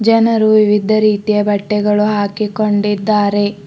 ಜನರು ವಿವಿಧ ರೀತಿಯ ಬಟ್ಟೆಗಳು ಹಾಕಿಕೊಂಡಿದ್ದಾರೆ.